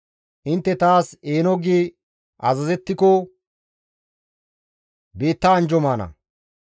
Intte taas eeno gi azazettiko biitta anjjo maana.